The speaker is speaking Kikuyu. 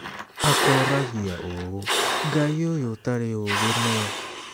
Akoragia ũũ: "Ngai ũyũ ũtarĩ ũũgĩ nũũ?